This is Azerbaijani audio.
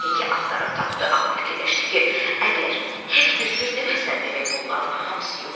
Heki axtarıb tapdı, amma fikirləşdi ki, əgər Hek bir söz deməsə, demək bunların hamısı yuxudur.